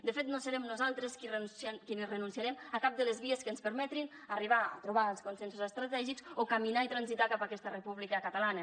de fet no serem nosaltres qui renunciarem a cap de les vies que ens permetin arribar a trobar els consensos estratègics o caminar i transitar cap a aquesta república catalana